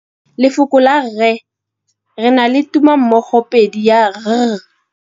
Lefoko la rre, le na le tumammogôpedi ya, r.